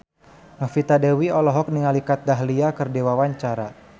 Novita Dewi olohok ningali Kat Dahlia keur diwawancara